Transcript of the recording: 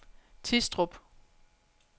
Tistrup